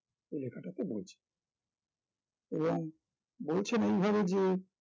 ওই লেকটাতে বলছেন এবং বলছেন এইভাবে যে